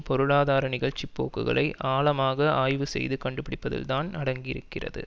பொருளாதார நிகழ்ச்சி போக்குகளை ஆழமாக ஆய்வு செய்து கண்டுபிடிப்பதில்தான் அடங்கியிருக்கிறது